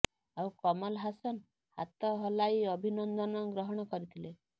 ଆଉ କମଲ ହାସନ୍ ହାତ ହଲାଇ ଅଭିବାଦନ ଗ୍ରହଣ କରିଥିଲେ